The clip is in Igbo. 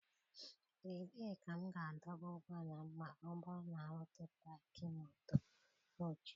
Ebee ka m ga-adọba ụgbọala m ma ọ bụrụ na m rute Pakị Moto ochie?